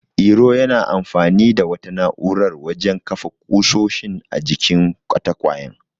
Iro yana amfani da wata na'urar wajen kafa ƙusoshin a jikin katakwayen.